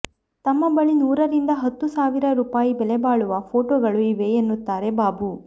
ತಮ್ಮ ಬಳಿ ನೂರರಿಂದ ಹತ್ತು ಸಾವಿರ ರುಪಾಯಿ ಬೆಲೆಬಾಳುವ ಫೋಟೋಗಳು ಇವೆ ಎನ್ನುತ್ತಾರೆ ಬಾಬು